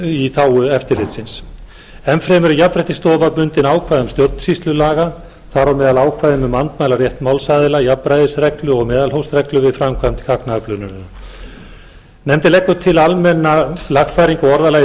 í þágu eftirlitsins enn fremur er jafnréttisstofa bundin ákvæðum stjórnsýslulaga þar á meðal ákvæðum um andmælarétt málsaðila jafnræðisreglu og meðalhófsreglu við framkvæmd gagnaöflunar nefndin leggur til almenna lagfæringu á orðalagi